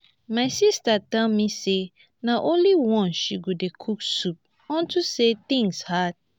my sister tell me say na only once she go dey cook soup unto say things hard